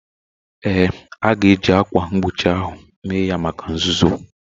Ee, a ga-eji ákwà mgbochi ahụ mee ya maka nzuzo